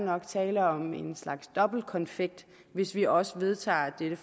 nok tale om en slags dobbeltkonfekt hvis vi også vedtager dette